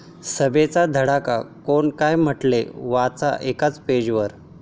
सभांचा धडाका, कोण काय म्हटलं? वाचा एकाच पेजवर